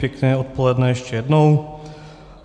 Pěkné odpoledne ještě jednou.